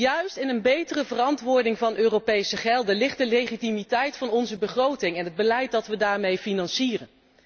Juist in een betere verantwoording van Europese gelden ligt de legitimiteit van onze begroting en het beleid dat we daarmee financieren.